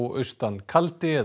austan kaldi eða